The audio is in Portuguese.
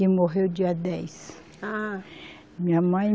e morreu dia dez. Ah! Minha mãe